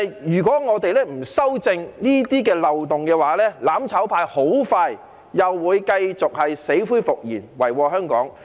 如果我們不修正這些漏洞，"攬炒派"很快又會死灰復燃，遺禍香港。